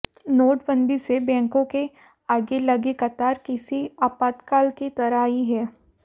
नोटबंदी से बैंकों के आगे लगी कतार किसी आपातकाल की तरह ही है